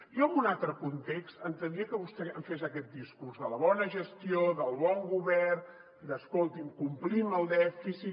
jo en un altre context entendria que vostè em fes aquest discurs de la bona gestió del bon govern d’ escolti’m complim el dèficit